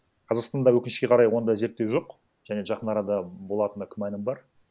қазақстанда өкінішке қарай ондай зерттеу жоқ және жақын арада болатынына күмәнім бар